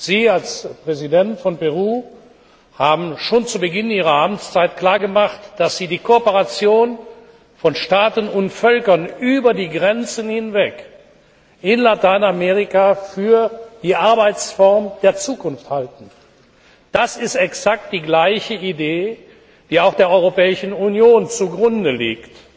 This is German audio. Sie als Präsident von Peru haben schon zu Beginn Ihrer Amtszeit klargemacht, dass Sie die Kooperation von Staaten und Völkern über die Grenzen hinweg in Lateinamerika für die Arbeitsform der Zukunft halten. Das ist exakt die gleiche Idee, die auch der Europäischen Union zu Grunde liegt